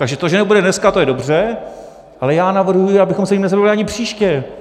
Takže to, že nebude dneska, to je dobře, ale já navrhuji, abychom se jím nezabývali ani příště.